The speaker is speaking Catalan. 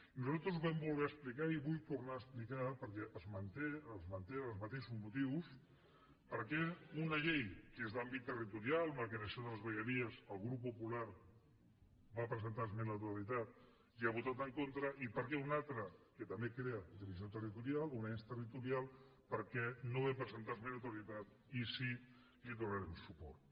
i nosaltres vam voler explicar i vull tornar a explicar perquè es mantenen els mateixos motius per què una llei que és d’àmbit territorial en la creació de les vegueries el grup popular va presentar esmena a la totalitat i hi ha votat en contra i per què en una altra que també crea divisió territorial un ens territorial per què no vam presentar esmena a la totalitat i sí hi donarem suport